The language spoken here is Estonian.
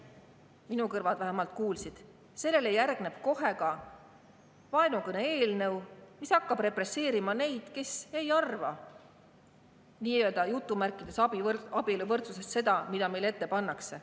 Minu kõrvad vähemalt kuulsid, et sellele järgneb kohe ka vaenukõne-eelnõu, mis hakkab represseerima neid, kes ei arva "abieluvõrdsusest" seda, mida neile ette pannakse.